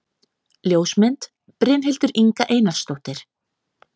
Ljósmynd: Brynhildur Inga Einarsdóttir